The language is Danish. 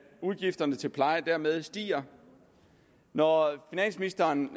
udgifterne til pleje dermed stiger når finansministeren